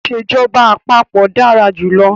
Ìsèjọba àpapọ̀ dára jù lọ.